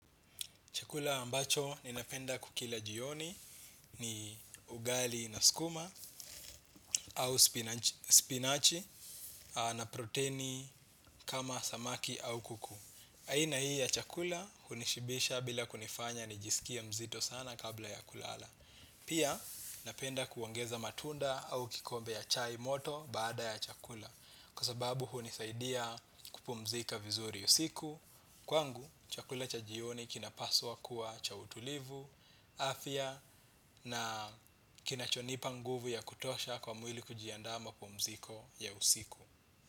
Chakula ambacho ninapenda kukila jioni ni ugali na skuma au spinachi na proteni kama samaki au kuku. Aina hii ya chakula hunishibisha bila kunifanya nijisikie mzito sana kabla ya kulala. Pia napenda kuongeza matunda au kikombe ya chai moto baada ya chakula kwa sababu hunisaidia kupumzika vizuri usiku. Kwangu chakula cha jioni kina paswa kuwa cha utulivu afya na kinachonipa nguvu ya kutosha kwa mwili kujiandaa mapumziko ya usiku.